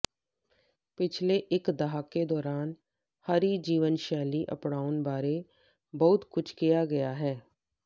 ਪਿਛਲੇ ਇਕ ਦਹਾਕੇ ਦੌਰਾਨ ਹਰੀ ਜੀਵਨ ਸ਼ੈਲੀ ਅਪਣਾਉਣ ਬਾਰੇ ਬਹੁਤ ਕੁਝ ਕਿਹਾ ਗਿਆ ਹੈ